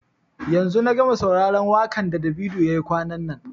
yanzu na gama sauraron wakan da Davido ya yi kwanan nan.